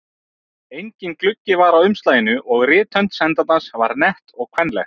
Enginn gluggi var á umslaginu og rithönd sendandans var nett og kvenleg.